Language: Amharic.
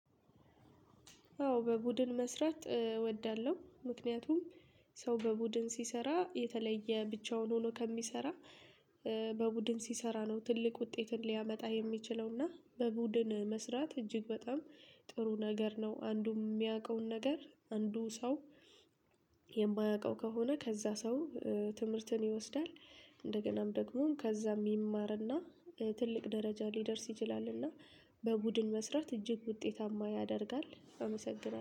አዎ በቡድን መስራት እወዳለሁ፦ ምክንያቱም ሰው በቡድን ሲሰራ የተለየ ብቻውን ሆኖ ከሚሰራ በቡድን ሲሰራ ነው ትልቅ ውጤትን ሊያመጣ የሚችለው እና በቡድን መስራት እጅግ በጣም ጥሩ ነገር ነው አንዱ የሚያውቀውን ነገር አንዱ ሰው የማያውቀው ከሆነ ከዛ ሰው ትምህርትን ይወስዳል እንደገናም። ደግሞ ከዛም ይማርና ትልቅ ደረጃ ሊደርስ ይችላልና በቡድን መስራት እጅግ ውጤታማ ያደርጋል አመሰግናለሁ